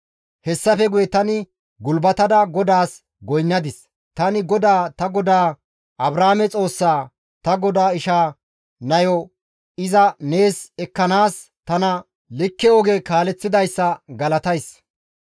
Hessafe guye tani gulbatada GODAAS goynnadis; tani GODAA ta godaa Abrahaame Xoossa, ta godaa isha nayo iza nees ekkanaas tana likke oge kaaleththidayssa galatays.